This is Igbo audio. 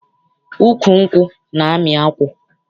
Ukwu nkwụ na-amị akwụ.